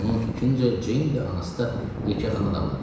Onun fikrincə, Ceyn də, anası da yekəxana adamlar idi.